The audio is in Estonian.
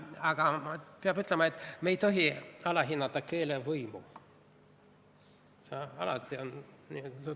Peab ütlema, et me ei tohi alahinnata keele võimu.